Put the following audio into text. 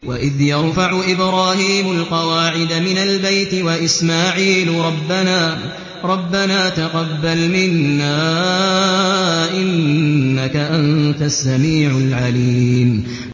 وَإِذْ يَرْفَعُ إِبْرَاهِيمُ الْقَوَاعِدَ مِنَ الْبَيْتِ وَإِسْمَاعِيلُ رَبَّنَا تَقَبَّلْ مِنَّا ۖ إِنَّكَ أَنتَ السَّمِيعُ الْعَلِيمُ